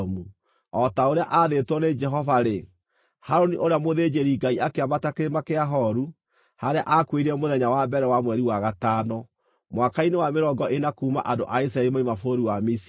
O ta ũrĩa aathĩtwo nĩ Jehova-rĩ, Harũni ũrĩa mũthĩnjĩri-Ngai akĩambata Kĩrĩma kĩa Horu, harĩa aakuĩrĩire mũthenya wa mbere wa mweri wa gatano, mwaka-inĩ wa mĩrongo ĩna kuuma andũ a Isiraeli moima bũrũri wa Misiri.